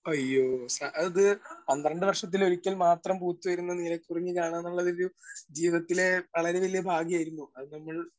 Speaker 1 അയ്യോ, ആ അത് പന്ത്രണ്ട് വർഷത്തിൽ ഒരിക്കൽ മാത്രം പൂത്തുവരുന്ന നീലക്കുറിഞ്ഞി കാണാ എന്നുള്ളത് ഒരു ജീവിതത്തിലെ വളരെ വലിയ ഭാഗ്യം ആയിരുന്നു. അത് നമ്മൾ